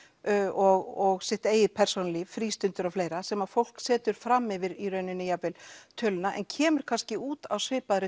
og sitt eigið frístundir og fleira sem að fólk setur fram yfir í rauninni jafnvel töluna en kemur kannski út á svipaðri